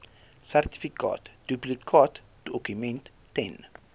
sertifikaat duplikaatdokument ten